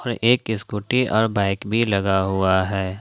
और एक स्कूटी और बाइक भी लगा हुआ है।